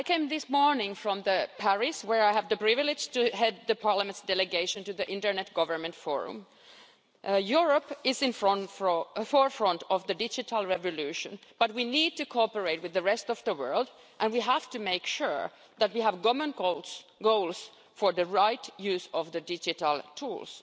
This morning I came from Paris where I had the privilege to head the Parliament's delegation to the Internet Governance Forum. Europe is at the forefront of the digital revolution but we need to cooperate with the rest of the world and we have to make sure that we have common goals for the right use of the digital tools.